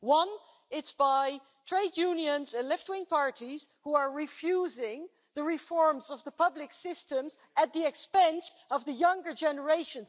One type of attack is by trade unions and left wing parties who are refusing reform of the public systems, at the expense of the younger generation.